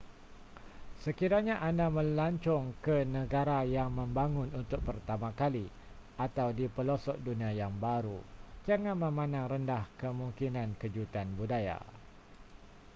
sekiranya anda melancong ke negara yang membangun untuk pertama kali atau di pelosok dunia yang baru jangan memandang rendah kemungkinan kejutan budaya